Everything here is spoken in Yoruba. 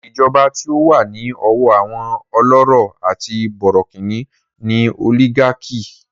Ìjọba tí ó wà ní ọwọ́ àwọn ọlọ́rọ̀ àti bọ̀rọ̀kìní ni òlígákì.